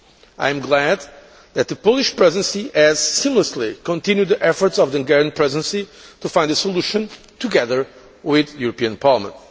I am glad that the Polish Presidency has seamlessly continued the efforts of the Hungarian Presidency to find a solution, together with the European Parliament.